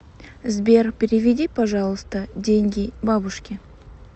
сбер переведи пожалуйста деньги бабушке